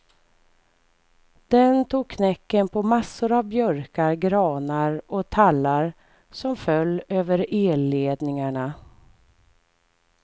Den tog knäcken på massor av björkar, granar och tallar som föll över elledningarna.